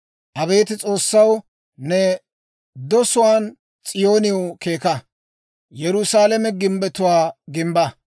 Abeet S'oossaw, ne dosuwaan S'iyooniw keeka; Yerusaalame gimbbetuwaa gimbba.